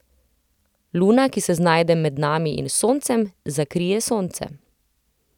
Luna, ki se znajde med nami in Soncem, zakrije Sonce.